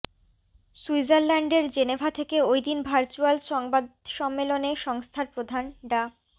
সুইজারল্যান্ডের জেনেভা থেকে ওইদিন ভার্চুয়াল সংবাদ সম্মেলনে সংস্থার প্রধান ডা